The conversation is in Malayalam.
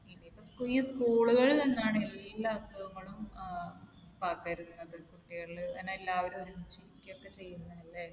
ഈ school ളിൽ നിന്നാണ് എല്ലാ അസുഖങ്ങളും ഏർ പകരുന്നത്. കുട്ടികളിൽ ഇങ്ങനെ എല്ലാവരും ഒരുമിച്ച് ഇരിക്കുകയൊക്കെ ചെയ്യുന്നതല്ലേ.